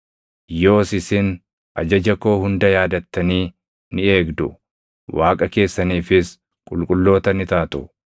Yoos isin ajaja koo hunda yaadattanii ni eegdu; Waaqa keessaniifis qulqulloota ni taatu.